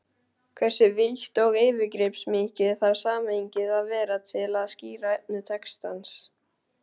Hversu vítt og yfirgripsmikið þarf samhengið að vera til að skýra efni textans?